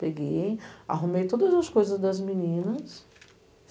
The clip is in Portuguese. Peguei, arrumei todas as coisas das meninas.